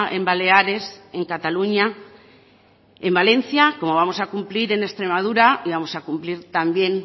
en baleares en cataluña en valencia como vamos a cumplir en extremadura y vamos a cumplir también